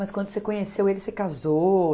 Mas quando você conheceu ele, você casou?